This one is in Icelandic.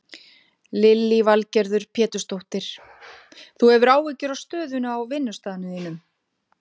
Lillý Valgerður Pétursdóttir: Þú hefur áhyggjur af stöðunni á vinnustaðnum þínum?